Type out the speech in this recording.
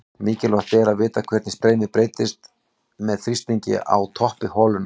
Mikilvægt er að vita hvernig streymið breytist með þrýstingi á toppi holunnar.